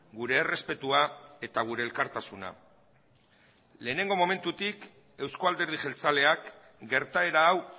gure errespetua eta gure elkartasuna lehenengo momentutik euzko alderdi jeltzaleak gertaera hau